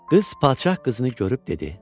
Qız padşah qızını görüb dedi: